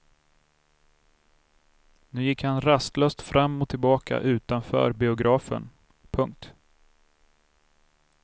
Nu gick han rastlöst fram och tillbaka utanför biografen. punkt